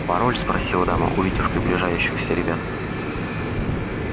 пароль спросила дама увидев приближающихся ребят